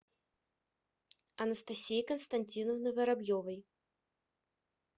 анастасии константиновны воробьевой